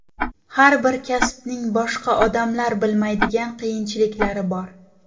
Har bir kasbning boshqa odamlar bilmaydigan qiyinchiliklari bor.